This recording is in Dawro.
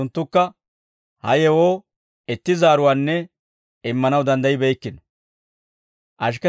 Unttunttukka ha yewoo itti zaaruwaanne immanaw danddayibeykkino.